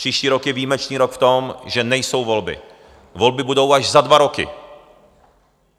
Příští rok je výjimečný rok v tom, že nejsou volby, volby budou až za dva roky.